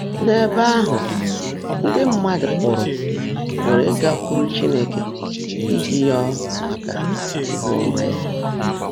N’ébè áhụ́, ndị́ mmádụ́ pụrụ́ pụrụ́ ígákwụ́rú Chínekè íjí rịọ́ màká íhú ọ́mã yá.